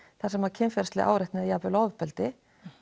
þar sem kynferðisleg áreitni og jafnvel ofbeldi